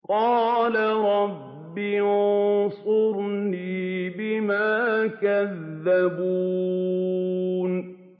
قَالَ رَبِّ انصُرْنِي بِمَا كَذَّبُونِ